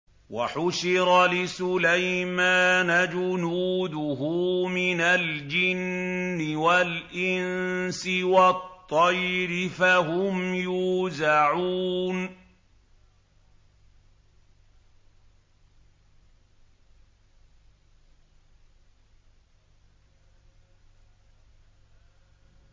وَحُشِرَ لِسُلَيْمَانَ جُنُودُهُ مِنَ الْجِنِّ وَالْإِنسِ وَالطَّيْرِ فَهُمْ يُوزَعُونَ